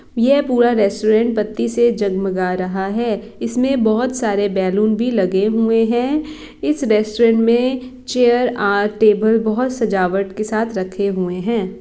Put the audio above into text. ये पूरा रेस्टुरेन्ट बत्ती से जगमगा रहा हैइसमें बहुत सारे बैलून भी लगे हुए है इस रेस्टुरेन्ट में चेयर आर टेबल बहोत सजावट के साथ रखे हुए है।